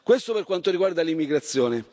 Questo per quanto riguarda l'immigrazione.